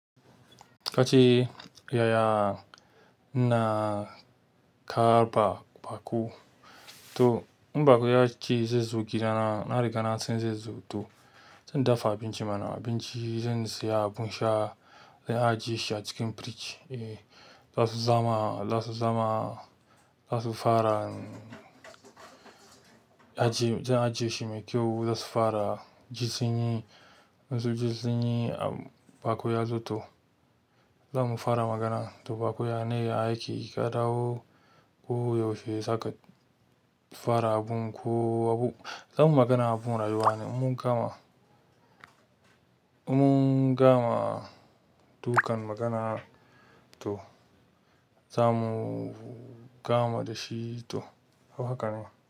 Kace yaya kake karɓan baƙo to in baƙo ya ce zai zo gida na, na riga na san zai zo to zan dafa abinci mana abinci, zan saya abun sha, zan ajiye shi a cikin firij. Eh, za su zama, za su zama, za su fara, zan ajiye shi mai kyau, za su fara jin sanyi. In sun zo sunyi baƙo yazo to zamu fara magana to baku yana yi aiki ka dawo ku yaushe, saka fara abun ko abu. Zamuyi magana abubuwan rayuwa ne in mun gama, dukan magana to za mu gama da shi to, haka ne.